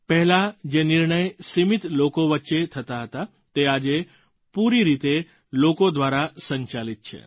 પહેલાં જે નિર્ણય સીમિત લોકો વચ્ચે થતા હતા તે આજે પૂરી રીતે લોકો દ્વારા સંચાલિત છે